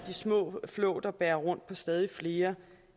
små flåter bærer rundt på stadig flere